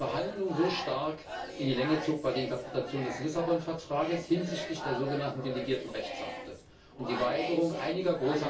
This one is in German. Was die Verhandlungen so stark in die Länge zog, war die Interpretation des Vertrags von Lissabon hinsichtlich der so genannten delegierten Rechtsakte und die Weigerung einiger großer